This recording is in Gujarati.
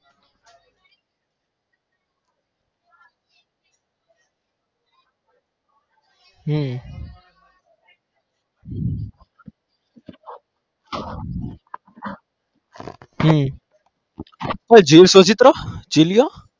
હમ હમ